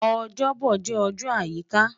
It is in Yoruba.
Ojobo jẹ ọjọ ayika